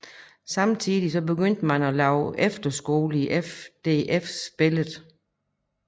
Samtidig begyndte man at lave efterskoler i FDFs billede